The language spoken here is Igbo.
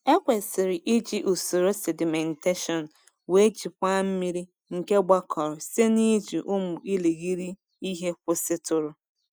Ekwesịrị iji usoro sedimentation wee jikwaa mmiri nke gbakọrọ site n’iji ụmụ irighiri ihe kwụsịtụrụ.